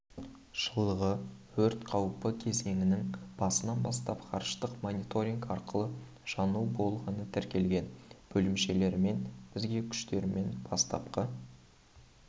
жылғы өрт қауіпі кезіңінің басынан бастап ғарыштық мониторинг арқылы жану болғаны тіркелген бөлімшелерімен бірге күштерімен бастапқы